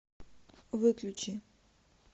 выключи